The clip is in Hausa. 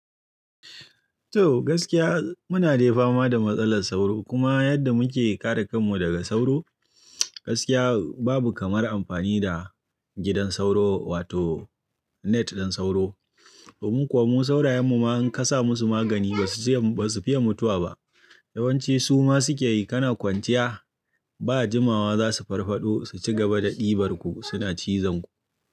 To gaskiya muna dai fama da matsalar sauro kuma yadda muke kare kanmu daga sauro, gaskiya babu kamar amfani da gidan sauro wato net ɗin sauro. Domin kuwa mu saurayen mu ma in ka sa musu magani ba su fiya mutuwa ba. Yawanci su ma suke yi kana kwanciya ba jimawa za su farfaɗo su ci gaba da ɗibar ku, suna cizon ku.